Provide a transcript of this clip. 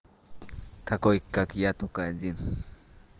такой как я только один